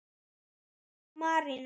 Auður og Marinó.